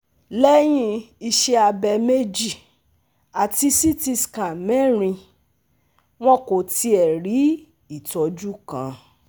Lẹ́yìn iṣẹ́ abẹ̀ mẹ́jì ati CT scan mẹrin, wọn kò tíẹ rí ìtọ́jú kan